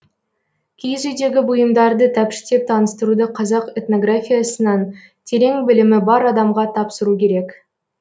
киіз үйдегі бұйымдарды тәпіштеп таныстыруды қазақ этнографиясынан терең білімі бар адамға тапсыру керек